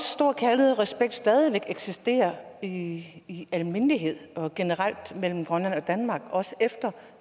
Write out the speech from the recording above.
stor kærlighed og respekt stadig væk eksisterer i i almindelighed og generelt mellem grønland og danmark også efter